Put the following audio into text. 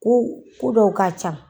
Ko ko dɔw ka ca.